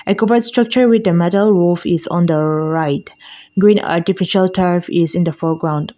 a structure with a metal roof is on the right green artificial is on the foreground.